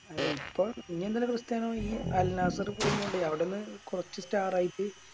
അല്ല ഇപ്പം ഇനി എന്തിനാ ക്രിസ്റ്റ്യാനോ ഈ അൽ നാസർ പോയി കൊണ്ടോയി അവിടുന്ന് കൊറച്ച് Star ആയിറ്റ്